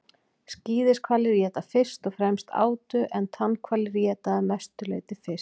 skíðishvalir éta fyrst og fremst átu en tannhvalir éta að mestu leyti fisk